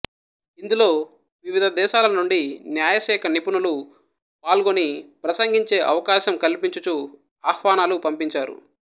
ఇందులో వివిధదేశాల నుండి న్యాయశాఖ నిపుణులు పాల్గొని ప్రసంగించే అవకాశం కల్పించుచూ ఆహ్వానాలు పంపించారు